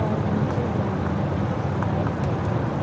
और नीचे ग्राउन्ड मे बहुत सी बाइक खड़ी हुई हैं।